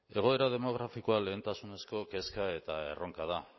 egoera demografikoa lehentasunezko kezka eta erronka da